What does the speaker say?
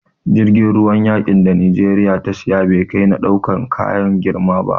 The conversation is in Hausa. Jirgin ruwan yaƙin da Najeriya ta siya, bai kai na ɗaukan kaya girma ba.